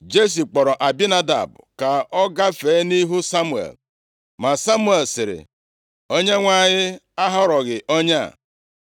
Jesi kpọrọ Abinadab ka ọ gafee nʼihu Samuel. Ma Samuel sịrị, “ Onyenwe anyị ahọrọghị onye a.”